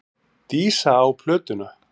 Dísa á plötuna.